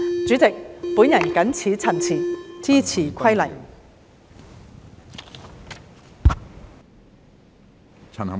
主席，我謹此陳辭，支持《2021年消防規例》。